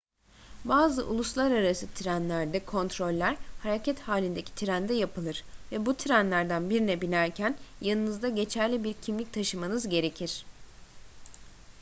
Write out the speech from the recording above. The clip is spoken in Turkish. bazı uluslararası trenlerde kontroller hareket halindeki trende yapılır ve bu trenlerden birine binerken yanınızda geçerli bir kimlik taşımanız gerekir